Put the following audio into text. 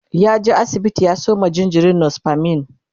ya je asibiti ya Sayo ma jinjirin nospamin